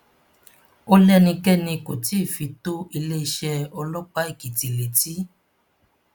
ó lẹnikẹni kó tí ì fi tó iléeṣẹ ọlọpàá èkìtì létí